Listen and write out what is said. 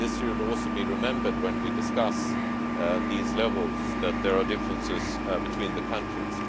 This should also be remembered when we discuss these levels that there are differences between the countries.